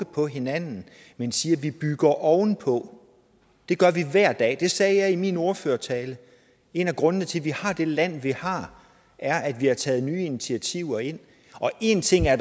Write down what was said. på hinanden men siger at vi bygger ovenpå det gør vi hver dag jeg sagde i min ordførertale at en af grundene til at vi har det land vi har er at vi har taget nye initiativer ind og en ting er